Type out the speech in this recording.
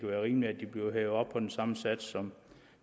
være rimeligt at de bliver hævet op på den samme sats som